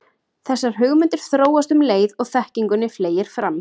Þessar hugmyndir þróast um leið og þekkingunni fleygir fram.